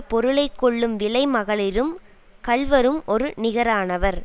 பொருளை கொள்ளும் விலை மகளிரும் கள்வரும் ஒரு நிகரானவர்